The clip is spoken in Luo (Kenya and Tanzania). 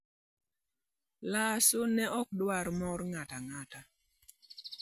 Lasso ne ok dwar moro ng'ato ang'ata...